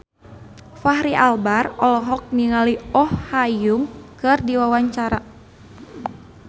Fachri Albar olohok ningali Oh Ha Young keur diwawancara